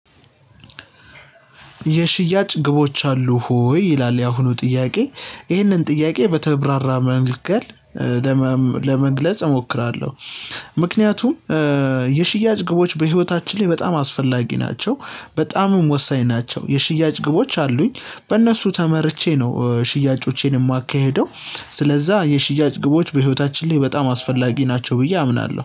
የሽያጭ ግቦች አሉህ ወይ? ይላል የአሁኑ ጥያቄ ይህንን ጥያቄ በተብራራ መንገድ ለመግለጽ እሞክራለሁ። ምክንያቱም የሽያጭ ግቦች በህይወታችን ላይ በጣም አስፈላጊ ናቸው በጣምም ወሳኝ ናቸው። የሽያጭ ግቦች አሉኝ በእነሱ ተመርቼ ነው ሽያጮቼን የማካሂደው። ስለዛ የሽያጭ ግቦች በህይወታችን ላይ በጣም አስፈላጊ ናቸው ብዬ አምናለሁ